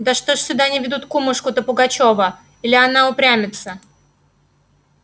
да что ж сюда не ведут кумушку-то пугачёва или она упрямится